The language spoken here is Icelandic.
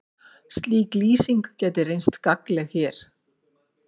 Slík lýsing gæti reynst gagnleg hér.